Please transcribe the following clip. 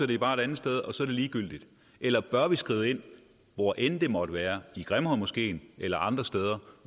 de bare det andet sted og så er det ligegyldigt eller bør vi skride ind hvor end det måtte være i grimhøjmoskeen eller andre steder